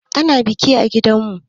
Ana biki a gidanmu.